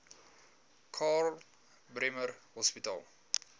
karl bremer hospitaal